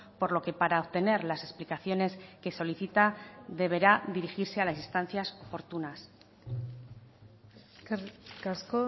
por lo que para obtener las explicaciones que solicita deberá dirigirse a las instancias oportunas eskerrik asko